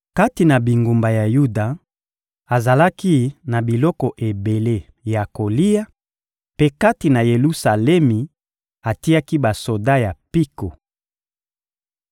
Kati na bingumba ya Yuda, azalaki na biloko ebele ya kolia; mpe kati na Yelusalemi, atiaki basoda ya mpiko.